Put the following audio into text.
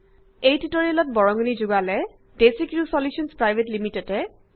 এই টিউটৰিয়েলত বৰঙনি যোগালে ডেচিক্ৰিউ চলিউশ্যনছ পিভিটি